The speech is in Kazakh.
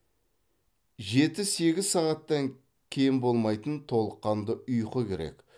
жеті сегіз сағаттан кем болмайтын толыққанды ұйқы керек